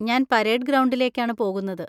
ഞാൻ പരേഡ് ഗ്രൗണ്ടിലേക്കാണ് പോകുന്നത്.